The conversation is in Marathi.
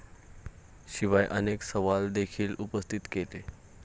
शिवाय अनेक सवाल देखील उपस्थित केले.